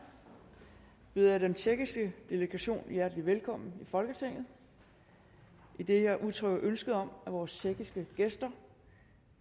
byder jeg den tjekkiske delegation hjertelig velkommen i folketinget idet jeg udtrykker ønske om at vores tjekkiske gæster